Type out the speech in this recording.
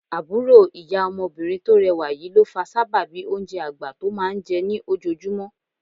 Àbúrò ìyá ọmọbìnrin tó rẹwà yìí ló fa sábàbí oúnjẹ àgbà tó máa ń jẹ ní ojoojúmọ́